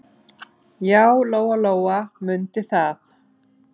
Já, Lóa-Lóa mundi það.